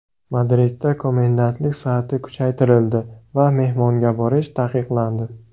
Madridda komendantlik soati kuchaytirildi va mehmonga borish taqiqlandi.